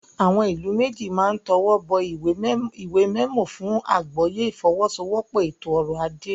Àwọn ìlú méjì máa tọwọ́ bọ ìwé mẹmọ fún àgbọ́yé ìfọwọ́sowọ́pọ̀ ètò ọrọ̀-ajé.